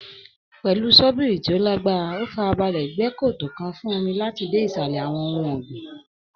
Pẹ̀lú sọ́bìrì tí ó lágbára, ó farabalẹ̀ gbẹ́ kòtò fún omi láti dé ìsàlẹ̀ àwọn ohun ọ̀gbìn